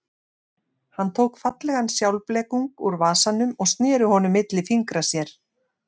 Hann tók fallegan sjálfblekung úr vasanum og sneri honum milli fingra sér.